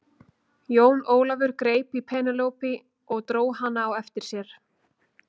Jón Ólafur greip í Penélope og dró hana á eftir sér.